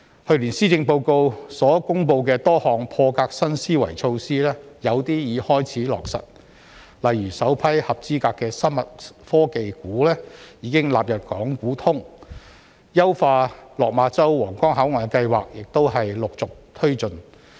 去年施政報告所公布的多項破格新思維措施，有些已開始落實，例如首批合資格的生物科技股已經納入港股通、優化落馬洲/皇崗口岸的計劃亦陸續推進。